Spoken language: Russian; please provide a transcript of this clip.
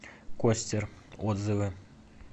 костер отзывы